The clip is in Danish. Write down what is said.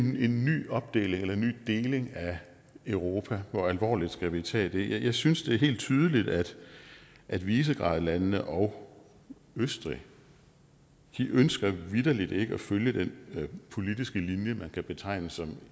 en ny opdeling eller ny deling af europa hvor alvorligt skal vi tage det jeg synes det er helt tydeligt at at visegradlandene og østrig vitterlig ikke ønsker at følge den politiske linje man kan betegne som